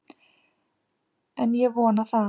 En ég vona það!